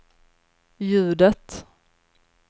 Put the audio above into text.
ljudet